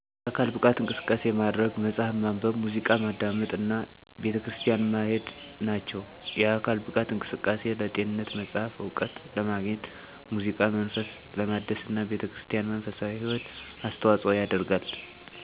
የአካል ብቃት እንቅስቃሴ ማድረግ፣ መጽሀፍ ማንበብ፣ ሙዚቃ ማዳመጥ እና ቤተክርስቲያን ማሄድ ናቸው። የአካል ብቃት እንቅስቃሴ ለጤንነት፣ መጽሐፍ እውቀት ለማግኘት፣ ሙዚቃ መንፈስ ለማደስና ቤተክርስቲያን መንፈሳዊ ህይወት አስተዋጽኦ ያደርጋል።